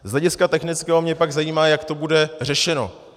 Z hlediska technického mě pak zajímá, jak to bude řešeno.